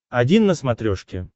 один на смотрешке